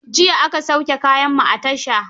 Jiya aka sauke kayanmu a tasha.